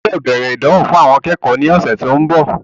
Ẹ gbọ́dọ̀ bẹ̀rẹ̀ ìdánwò fún àwọn akẹ́kọ̀ọ́ ní ọ̀sẹ̀ tí ó ń bọ̀.